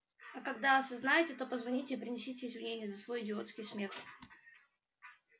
а когда осознаете то позвоните и принесите извинения за свой идиотский смех